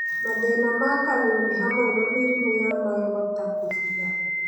Mathĩna ma Kanua nĩ hamwe na mĩrimũ ya magego, ta kũbutha